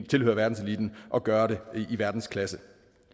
tilhøre verdenseliten og gøre det i verdensklasse